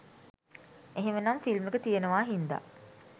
එහෙමනම් ‍ෆිල්ම් එක තියෙනවා හින්දා